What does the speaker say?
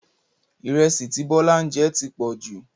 Ìrẹsì tí Bọ́lá ń jẹ ti pọ̀jù